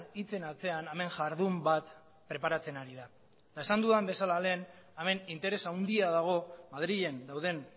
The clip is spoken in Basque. hitzen atzean hemen jardun bat preparatzen ari da eta esan dudan bezala lehen hemen interes handia dago madrilen dauden